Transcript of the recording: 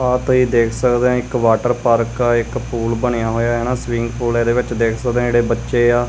ਆ ਤੁਸੀਂ ਦੇਖ ਸਕਦੇ ਆ ਇੱਕ ਵਾਟਰ ਪਾਰਕ ਆ ਇੱਕ ਪੂਲ ਬਣਿਆ ਹੋਇਆ ਹਨਾ ਸਵਿਮਿੰਗ ਪੁੱਲ ਇਹਦੇ ਵਿੱਚ ਦੇਖ ਸਕਦੇ ਜਿਹੜੇ ਬੱਚੇ ਆ।